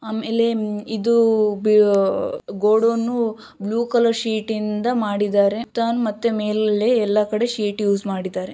ಆಮೇಲೆ ಅಮ್ ಇದು ಗೋ ಗೋಡಾನ್ ಬ್ಲೂ ಕಲರ್ ಶೀಟ್ ಯಿಂದ ಮಾಡಿದ್ದಾರೆ ಮತ್ತೆ ಮೇಲ್ ಎಲ್ಲಾ ಕಡೆ ಶೀಟ್ ಎಲ್ಲ ಕಡೆ ಯೂಸ್ ಮಾಡಿದ್ದಾರೆ.